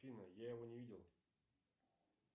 афина я его не видел